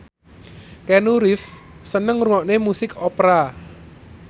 Keanu Reeves seneng ngrungokne musik opera